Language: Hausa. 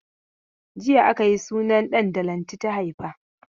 Jiya aka yi sunan ɗan da Lanti ta haifa.